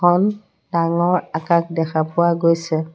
এখন ডাঙৰ আকাশ দেখা পোৱা গৈছে।